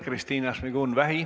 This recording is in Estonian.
Kristina Šmigun-Vähi.